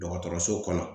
Dɔgɔtɔrɔso kɔnɔ